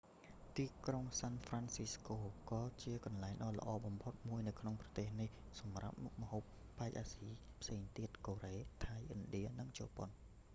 ទីក្រុងសាន់ហ្វ្រាន់ស៊ីស្កូ ក៏ជាកន្លែងដ៏ល្អបំផុតមួយនៅក្នុងប្រទេសនេះសម្រាប់មុខម្ហូបប៉ែកអាស៊ីផ្សេងទៀត៖ កូរ៉េ ថៃ ឥណ្ឌា និងជប៉ុន